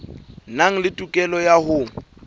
nang le tokelo ya ho